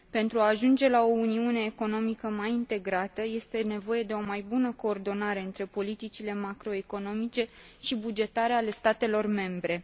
Pentru a ajunge la o uniune economică mai integrată, este nevoie de o mai bună coordonare între politicile macroeconomice și bugetare ale statelor membre.